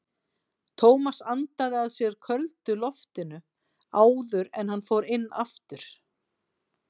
Tómas andaði að sér köldu loftinu áður en hann fór inn aftur.